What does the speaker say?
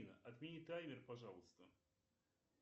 отмени таймер пожалуйста